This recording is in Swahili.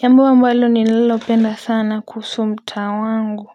Jambo ambalo nililo penda sana kuhusu mtaa wangu.